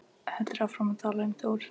Heldur áfram að tala um Þór: